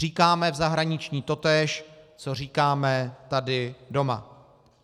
Říkáme v zahraničí totéž, co říkáme tady doma.